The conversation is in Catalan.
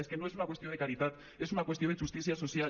és que no és una qüestió de caritat és una qüestió de justícia social